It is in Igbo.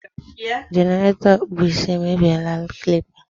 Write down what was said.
jenerato okpu isi e me bie la clipa